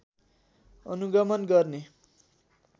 अनुगमन गर्ने